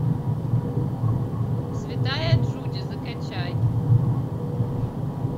святая джуди закачай